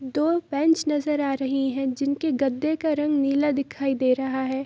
दो बैंच नजर आ रही है जिनके गद्दे का रंग नीला दिखाई दे रहा है |